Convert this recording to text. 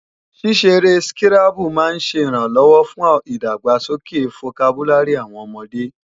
Ṣíṣeré skírábù máa ń ṣẹ ìrànlọ́wọ́ fún ìdàgbàsókè fokabúlárì àwọn ọmọde